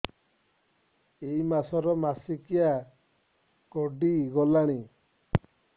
ଏଇ ମାସ ର ମାସିକିଆ ଗଡି ଗଲାଣି